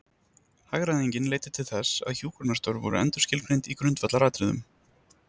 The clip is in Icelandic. Hagræðingin leiddi til þess að hjúkrunarstörf voru endurskilgreind í grundvallaratriðum.